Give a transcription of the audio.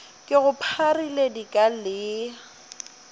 ke go pharile dika le